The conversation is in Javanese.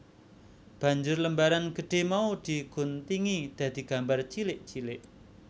Banjur lembaran gedhé mau di guntingi dadi gambar cilik cilik